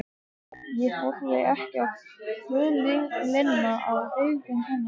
Ég horfi á kvölina í augum hennar.